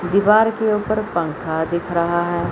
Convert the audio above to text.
दीवार के ऊपर पंखा दिख रहा है।